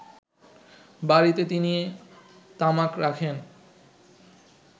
বাড়ীতে তিনি তামাক রাখেন